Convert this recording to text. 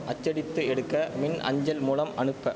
அச்சடித்து எடுக்க மின் அஞ்சல் மூலம் அனுப்ப